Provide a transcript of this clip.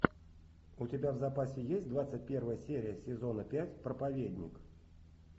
у тебя в запасе есть двадцать первая серия сезона пять проповедник